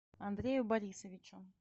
андрею борисовичу